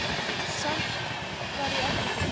Samt var ég ekki glöð.